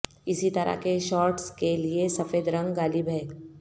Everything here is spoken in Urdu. اسی طرح کے شارٹس کے لئے سفید رنگ غالب ہے